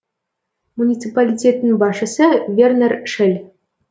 муниципалитеттің басшысы вернер шель